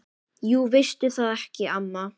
Jú veistu það ekki, amma?